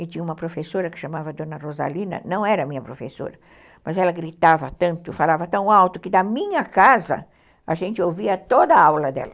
E tinha uma professora que chamava Dona Rosalina, não era minha professora, mas ela gritava tanto, falava tão alto, que da minha casa a gente ouvia toda a aula dela.